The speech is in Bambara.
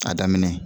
A daminɛ